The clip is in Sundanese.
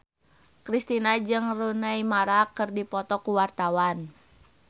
Kristina jeung Rooney Mara keur dipoto ku wartawan